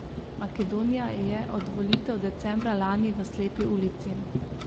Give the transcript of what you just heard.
Makedonija je od volitev decembra lani v slepi ulici.